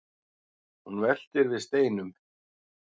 hún veltir við steinum